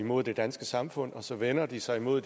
mod det danske samfund og så vender de sig mod